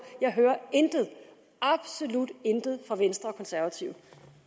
jeg hører intet absolut intet fra venstre og de konservative